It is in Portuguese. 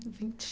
Vinte.